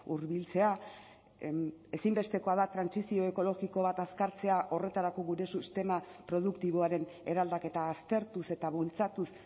hurbiltzea ezinbestekoa da trantsizio ekologiko bat azkartzea horretarako gure sistema produktiboaren eraldaketa aztertuz eta bultzatuz